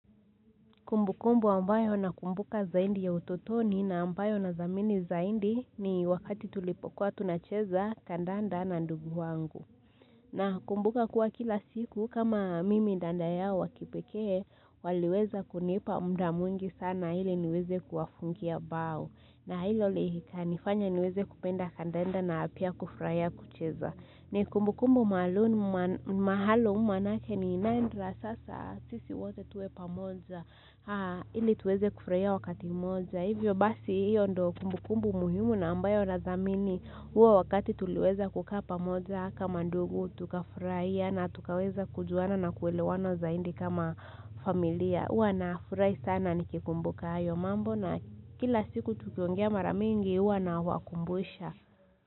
Kumbukumbu ambayo nakumbuka zaidi ya ututoni na ambayo nathamini zaidi, ni wakati tulipokuwa tunacheza kandanda na ndugu wangu. Nakumbuka kuwa kila siku kama mimi dada yao wakipekee, waliweza kunipa muda mwingi sana ili niweze kuwafungia bao. Na hilo likanifanya niweze kupenda kandanda na pia kufurahia kucheza. Ni kumbukumbu maalumu maana yake ni nadra sasa sisi wote tuwe pamoja, ili tuweze kufurahia wakati mmoja. Hivyo basi hiyo ndio kumbukumbu muhimu na ambayo nathamini, huo wakati tuliweza kukaa pamoja kama ndugu tukafurahia na tukaweza kujuana na kuelewana zaidi kama familia. Huwa nafurahi sana nikikumbuka hayo mambo, na kila siku tukiongea maramingi huwa nawakumbusha.